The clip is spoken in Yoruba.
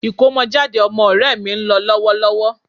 Ìkómọjáde ọmọ ọ̀rẹ́ mi ń lọ lọ́wọ́lọ́wọ́